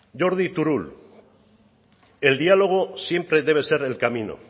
jordi turull el diálogo siempre debe ser el camino